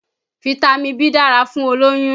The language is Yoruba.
Fitami B dára fún olóyún